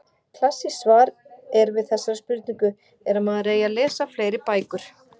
Klassískt svar er við þessari spurningu er að maður eigi að lesa fleiri bækur.